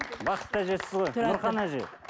бақытты әжесіз ғой нұрхан әже